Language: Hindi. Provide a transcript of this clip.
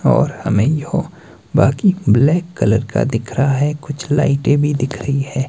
और हमें यह बाकी ब्लैक कलर का दिख रहा है कुछ लाइटें भी दिख रही है।